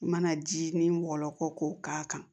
I mana ji nin wɔlɔkɔ k'o k'a kan